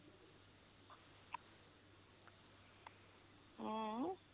ਹੈਂ